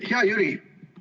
Hea Jüri!